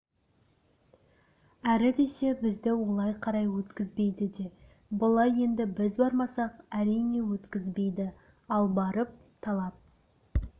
әрі десе бізді олай қарай өткізбейді де былай енді біз бармасақ әрине өткізбейді ал барып талап